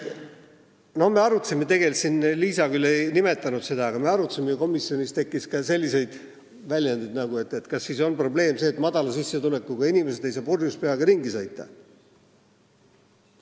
Me arutasime seda – Liisa küll ei nimetanud seda – ja komisjonis oli ka selliseid väljendeid, et kas siis probleem on see, et väikese sissetulekuga inimesed ei saa purjus peaga ringi sõita.